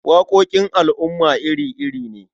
Waƙoƙin al'umma iri-iri ne.